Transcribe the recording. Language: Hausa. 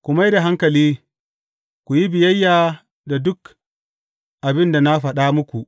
Ku mai da hankali, ku yi biyayya da duk abin da na faɗa muku.